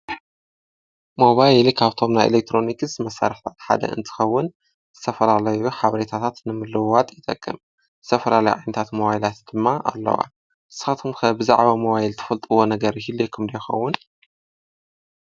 ሞባይል ሊኽ ኣውቶምና ኤለክሮኒክስ መሳርሕታት ሓደ እንትኸውን ዝተፈላለዩ ሓብሬታታት ንምልውዋጥ ይጠቅም፡፡ ዝተፈላለዩ ዓይነታት ሞባይላት ድማ ኣለዋ፡፡ ንስኻትኩም ከ ብዛዕባ መባይል ትፈልጥዎ ነገር ዶ የሂልየኹም ይኸውን?